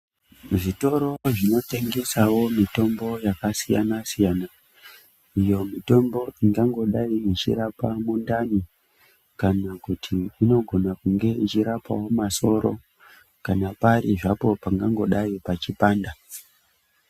Zvitoro zvinotengesawo mitombo yakasiyana siyana. Iyo mitombo ingangodai ichirapa mundani kana kuti inogona kunge ichirapawo masoro kana pari zvapo pangangodai pachipanda.